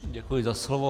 Děkuji za slovo.